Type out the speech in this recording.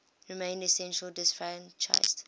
remained essentially disfranchised